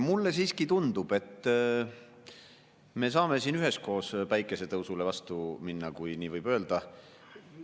Mulle siiski tundub, et me saame siin üheskoos päikesetõusule vastu minna, kui nii võib öelda.